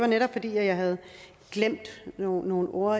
netop fordi jeg havde glemt nogle nogle ord